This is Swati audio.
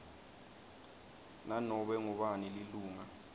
nanobe ngubani lilunga